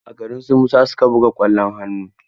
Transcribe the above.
A garin su Musa su ka buga ƙwallon hannu.